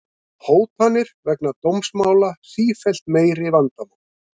Hótanir vegna dómsmála sífellt meira vandamál